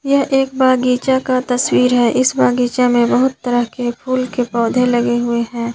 यह एक बागीचा का तस्वीर है इस बागीचा में बहुत तरह के फूल के पौधे लगे हुए हैं।